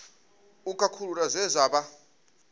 u khakhulula zwe zwa vha